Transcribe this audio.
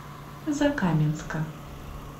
закаменска